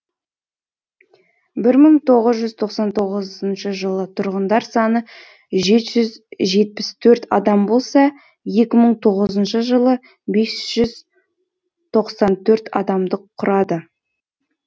бір мың тоғыз жүз тоқсан тоғызыншы жылы тұрғындар саны жеті жүз жетпіс төрт адам болса екі мың тоғызыншы жылы бес жүз тоқсан төрт адамды құрады